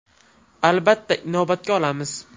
Albatta, inobatga olamiz.